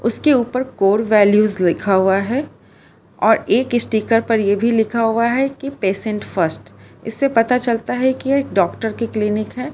इसके ऊपर core values लिखा हुआ है और एक स्टीकर पर ये भी लिखा हुआ है कि पेशेंट फर्स्ट इससे पता चलता है कि डॉक्टर की क्लीनिक है।